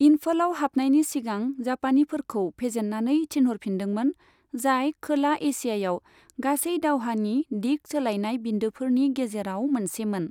इन्फालआव हाबनायनि सिगां जापानिफोरखौ फेजेननानै थिनहर फिनदों मोन, जाय खोला एशियायाव गासै दावहानि दिग सोलायनाय बिन्दोफोरनि गेजेराव मोनसे मोन।